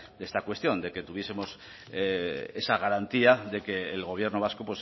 de esta cuestión de que tuviesemos esa garantía de que el gobierno vasco